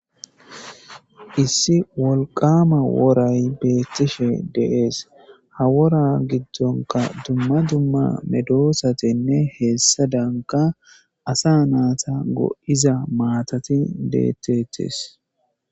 Issi wolqaama woray beettishe de'ees. Ha wora giddonka dumma dumma medoosatinne heessadanka asa naata go'iza maatati deeteetes.